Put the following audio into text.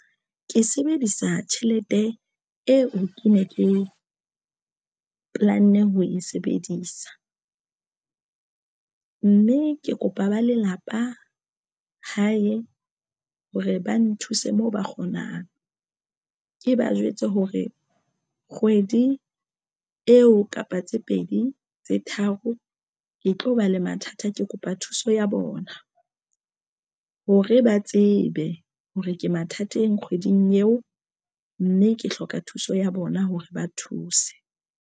Ke sebedisa tjhelete eo ke ne ke planne ho e sebedisa mme ke kopa ba lelapa hae hore ba nthuse moo ba kgonang ke ba jwetse hore kgwedi eo kapa tse pedi tse tharo ke tlo ba le mathata. Ke kopa thuso ya bona hore ba tsebe hore ke mathateng kgweding eo mme ke hloka thuso ya bona hore ba thuse.